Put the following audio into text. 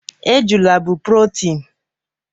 Ejula bụ protein